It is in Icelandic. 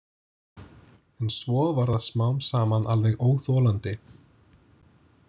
En svo varð það smám saman alveg óþolandi.